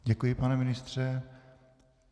Děkuji, pane ministře.